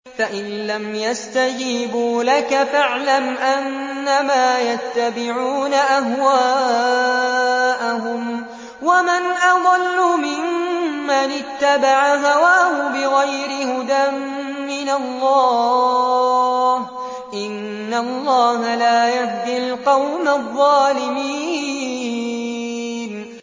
فَإِن لَّمْ يَسْتَجِيبُوا لَكَ فَاعْلَمْ أَنَّمَا يَتَّبِعُونَ أَهْوَاءَهُمْ ۚ وَمَنْ أَضَلُّ مِمَّنِ اتَّبَعَ هَوَاهُ بِغَيْرِ هُدًى مِّنَ اللَّهِ ۚ إِنَّ اللَّهَ لَا يَهْدِي الْقَوْمَ الظَّالِمِينَ